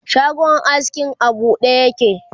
shagon askin a buɗe yake